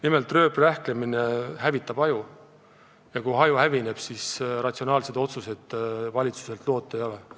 Nimelt, rööprähklemine hävitab aju ja kui aju hävineb, siis ratsionaalseid otsuseid valitsuselt loota ei ole.